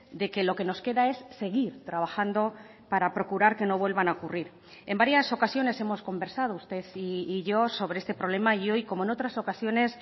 de que lo que nos queda es seguir trabajando para procurar que no vuelvan a ocurrir en varias ocasiones hemos conversado usted y yo sobre este problema y hoy como en otras ocasiones